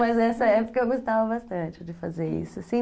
Mas nessa época eu gostava bastante de fazer isso.